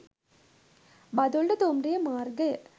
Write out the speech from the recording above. බදුල්ල දුම්රිය මාර්ගය